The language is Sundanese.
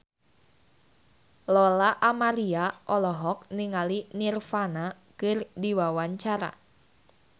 Lola Amaria olohok ningali Nirvana keur diwawancara